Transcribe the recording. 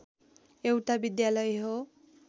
एउटा विद्यालय हो